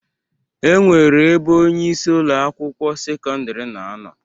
E nwere ebe onyeisi Ụlọ akwụkwọ sekọndrị na-anọ.